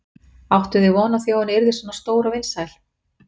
Áttuð þið von á því að hún yrði svona stór og vinsæl?